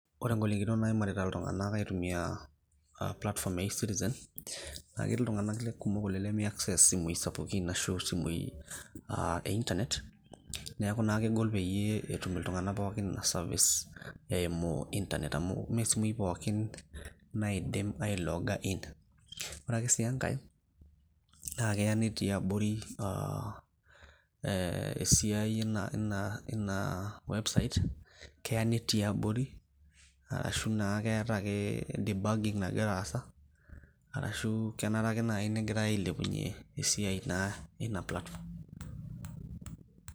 Ore igolikinot naimarita iltung'anak aitumia platform ya e-citizen, na ketii iltung'anak kumok oleng' limi access isimui sapukin ashu isimui ah e Internet, neeku na kegol peyie etum iltung'anak pookin ina service eimu Internet ,amu me simui pookin naidim ailooga in. Ore ake si enkae, naa keya netii abori ah esiai ina website, keya netii abori, ashu naa keeta ake debugging nagira aasa, arashu kenare ake nai negirai ailepunye esiai naa ina platform.